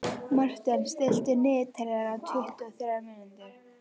Marten, stilltu niðurteljara á tuttugu og þrjár mínútur.